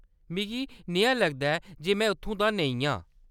मिगी नेहा लगदा ऐ जे में उत्थूं दा नेईं आं।